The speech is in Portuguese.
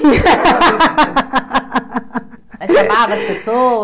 Chamava as pessoas?